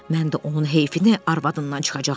Mən də onun heyfini arvadından çıxacağam.